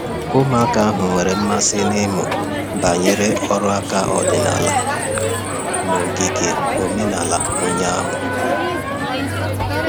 Ụmụaka ahụ nwere mmasị n'ịmụ banyere ọrụ aka ọdịnala n'ogige omenala ụnyahụ.